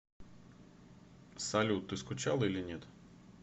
салют ты скучала или нет